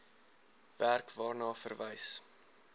werk waarna verwys